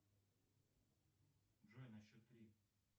джой на счет три